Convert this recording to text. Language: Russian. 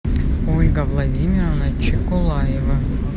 ольга владимировна чекулаева